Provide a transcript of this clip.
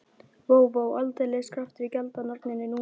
Vó, vó, aldeilis kraftur í galdranorninni núna.